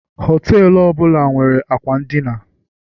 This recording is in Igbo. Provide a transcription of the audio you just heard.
họtelu ọ bụla nwere akwa n'dina